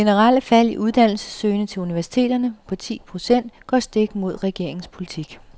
Det generelle fald, i uddannelsessøgende til universiteterne, på ti procent går stik imod regeringens politik.